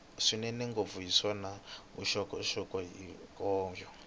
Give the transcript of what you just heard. swinene ngopfu naswona vuxokoxoko hinkwabyo